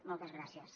moltes gràcies